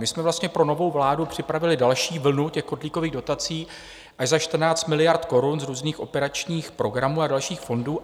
My jsme vlastně pro novou vládu připravili další vlnu těch kotlíkových dotací až za 14 miliard korun z různých operačních programů a dalších fondů.